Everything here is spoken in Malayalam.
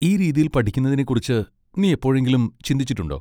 ഈ രീതിയിൽ പഠിക്കുന്നതിനെക്കുറിച്ച് നീ എപ്പോഴെങ്കിലും ചിന്തിച്ചിട്ടുണ്ടോ?